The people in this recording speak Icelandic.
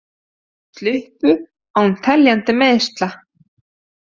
Sluppu án teljandi meiðsla